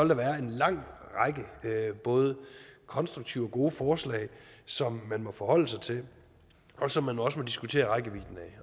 der være en lang række både konstruktive og gode forslag som man må forholde sig til og som man også må diskutere rækkevidden